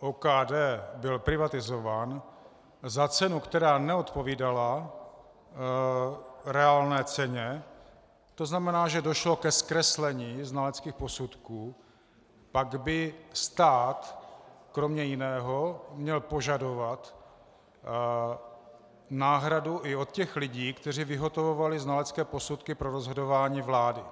OKD byl privatizován za cenu, která neodpovídala reálné ceně, to znamená, že došlo ke zkreslení znaleckých posudků, pak by stát kromě jiného měl požadovat náhradu i od těch lidí, kteří vyhotovovali znalecké posudky pro rozhodování vlády.